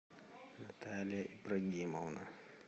наталья ибрагимовна